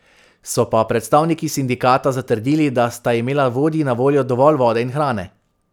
So pa predstavniki sindikata zatrdili, da sta imela vodji na voljo dovolj vode in hrane.